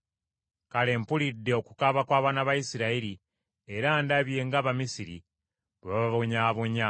Kale mpulidde okukaaba kw’abaana ba Isirayiri, era ndabye ng’Abamisiri bwe bababonyaabonya.